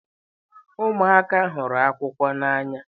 Ụmụaka hụrụ akụkọ n'anya.